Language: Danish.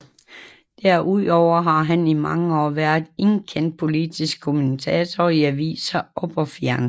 Derudover har han i mange år været en kendt politisk kommentator i aviser og på fjernsyn